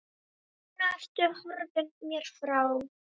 Núna ertu horfin mér frá.